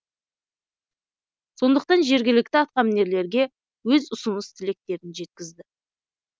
сондықтан жергілікті атқамінерлерге өз ұсыныс тілектерін жеткізді